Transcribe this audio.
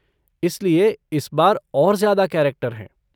इसलिए इस बार और ज्यादा कैरेक्टर हैं।